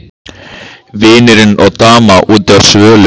Vinurinn og daman úti á svölum.